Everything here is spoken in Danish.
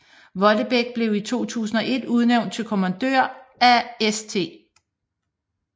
Vollebæk blev i 2001 udnævnt til kommandør af St